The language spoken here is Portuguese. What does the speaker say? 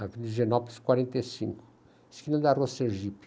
Avenida de Genópolis, quarenta e cinco, esquina da rua Sergipe.